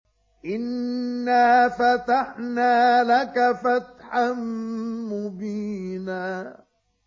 إِنَّا فَتَحْنَا لَكَ فَتْحًا مُّبِينًا